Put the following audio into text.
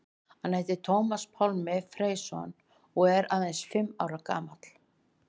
Hann heitir Tómas Pálmi Freysson og er aðeins fimm ára gamall.